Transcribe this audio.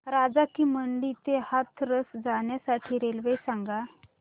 राजा की मंडी ते हाथरस जाण्यासाठी रेल्वे सांग